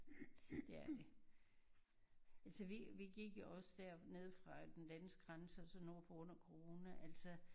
Det er det altså vi vi gik jo også dernede fra den danske grænse og så nordpå under corona altså